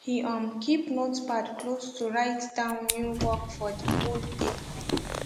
he um keep notepad close to write down new work for de whole dey